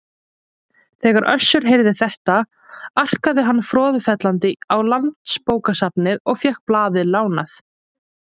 Þegar Össur heyrði þetta arkaði hann froðufellandi á Landsbókasafnið og fékk blaðið lánað.